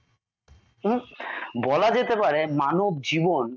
হম বলা যেতে পারে মানব জীবন